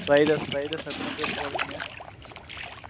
riders, riders எத்தனை பேர் போறீங்க?